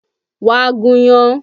Wá gúnyán!